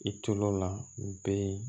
I tol'o la u bee